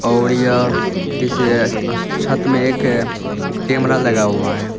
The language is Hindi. और यह किसी एस छत में एक कैमड़ा लगा हुआ है।